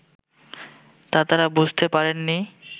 তা তারা বুঝতে পারেন নি